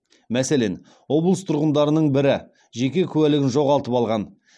мәселен облыс тұрғындарының бірі жеке куәлігін жоғалтып алған